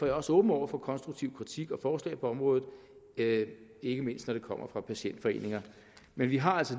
jeg også åben over for konstruktiv kritik og forslag på området ikke ikke mindst når det kommer fra patientforeninger men vi har altså